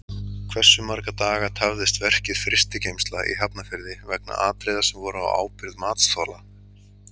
Hversu marga daga tafðist verkið Frystigeymsla í Hafnarfirði vegna atriða sem voru á ábyrgð matsþola?